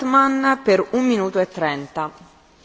Frau Präsidentin, liebe Kolleginnen und Kollegen!